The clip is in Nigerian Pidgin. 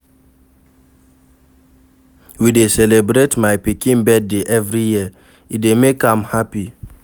We dey celebrate my pikin birthday every year, e dey make am happy.